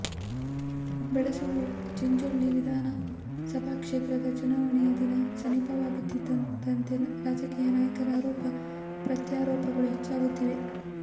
ಬೆಡಸೂರ ಚಿಂಚೋಳಿ ವಿಧಾನ ಸಭಾ ಕ್ಷೇತ್ರದ ಚುನಾವಣೆಯ ದಿನ ಸಮೀಪವಾಗುತ್ತಿರುವಂತೆ ರಾಜಕೀಯ ನಾಯಕರ ಆರೋಪ ಪ್ರತ್ಯಾರೋಪಗಳು ಹೆಚ್ಚಾಗುತ್ತಿವೆ